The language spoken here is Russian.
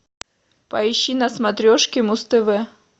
поищи на смотрешке муз тв